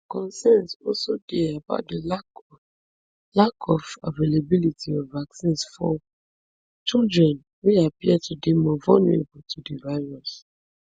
concerns also dey about di lack of lack of availability of vaccines for children wey appear to dey more vulnerable to di virus